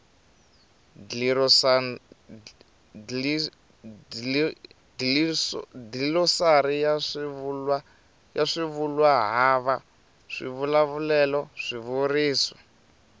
dlilosari ya swivulwahava swivulavulelo swivuriso